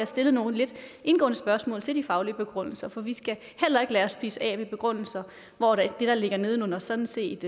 stillet nogle lidt indgående spørgsmål til de faglige begrundelser for vi skal heller ikke lade os spise af med begrundelser hvor det der ligger nedenunder sådan set